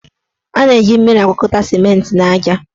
A na-eji mmiri agwakọta simenti na aja.